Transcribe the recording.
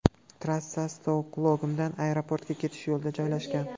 Trassa Stokgolmdan aeroportga ketish yo‘lida joylashgan.